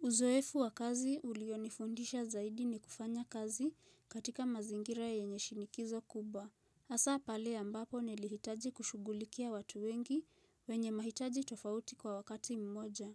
Uzoefu wa kazi ulionifundisha zaidi ni kufanya kazi katika mazingira yenye shinikizo kubwa. Hasa pale ambapo nilihitaji kushugulikia watu wengi wenye mahitaji tofauti kwa wakati mmoja.